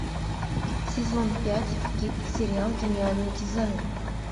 сезон пять сериал гениальный дизайн